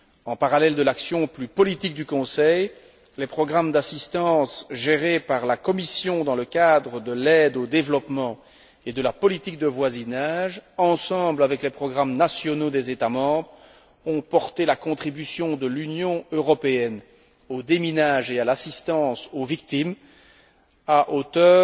En parallèle à l'action plus politique du Conseil, les programmes d'assistance gérés par la Commission dans le cadre de l'aide au développement et de la politique de voisinage avec les programmes nationaux des États membres ont porté la contribution de l'Union européenne au déminage et à l'assistance aux victimes à hauteur